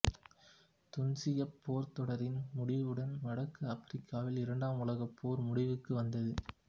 துனிசியப் போர்த்தொடரின் முடிவுடன் வடக்கு ஆப்பிரிக்காவில் இரண்டாம் உலகப் போர் முடிவுக்கு வந்தது